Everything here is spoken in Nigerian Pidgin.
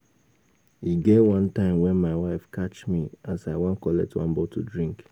E get wan time wen my wife catch me as I wan collect one bottle drink